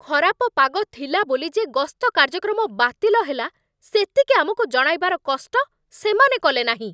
ଖରାପ ପାଗ ଥିଲା ବୋଲି ଯେ ଗସ୍ତ କାର୍ଯ୍ୟକ୍ରମ ବାତିଲ ହେଲା, ସେତିକି ଆମକୁ ଜଣାଇବାର କଷ୍ଟ ସେମାନେ କଲେନାହିଁ।